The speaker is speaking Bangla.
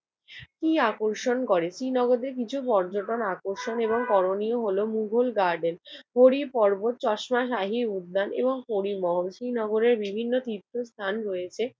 কি আকর্ষণ করে? শ্রীনগরের কিছু পর্যটন আকর্ষণ এবং করণীয় হলো মোগল গার্ডেন, হরিপর্বত, চশমা শাহী উদ্যান এবং পরিমহল। শ্রীনগরের বিভিন্ন তীর্থস্থান রয়েছে